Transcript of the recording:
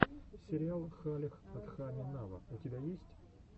сериал халех адхами нава у тебя есть